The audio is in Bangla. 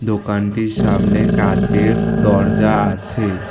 দোকানটির সামনে কাঁচের দরজা আছে।